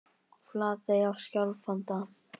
Flatey á Skjálfanda.